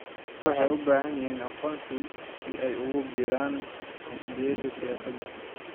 Dadku waxay u baahan yihiin aqoonsi si ay ugu biiraan xisbiyada siyaasadda.